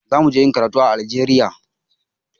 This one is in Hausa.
Za mu je ƴin karatu a Algeria.